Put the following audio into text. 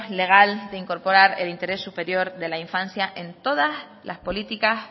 legal de incorporar el interés superior de la infancia en todas las políticas